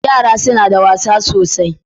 Yara suna da wasa sosai.